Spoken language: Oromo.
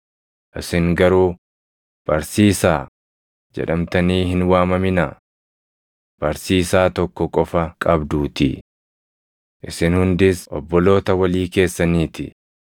“Isin garuu, ‘Barsiisaa’ jedhamtanii hin waamaminaa; Barsiisaa tokko qofa qabduutii. Isin hundis obboloota walii keessanii ti.